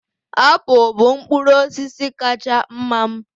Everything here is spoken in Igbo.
Apụl bụ mkpụrụ osisi kacha mma m